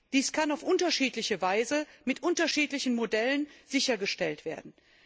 Dies kann auf unterschiedliche Weise mit unterschiedlichen Modellen sichergestellt werden.